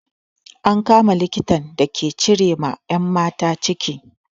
An kama likitan da yake cire ma 'yan mata ciki.